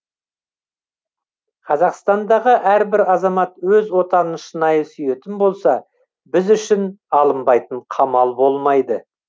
қазақстандағы әрбір азамат өз отанын шынайы сүйетін болса біз үшін алынбайтын қамал болмайды